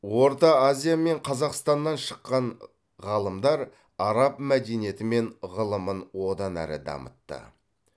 орта азия мен қазақстаннан шыққан ғалымдар араб мәдениеті мен ғылымын одан әрі дамытты